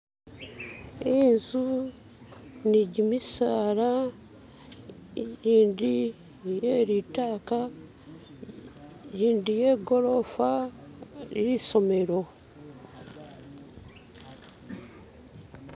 Inzu nigimisaala igindi ili yelitaka gindi yegolofa lisomelo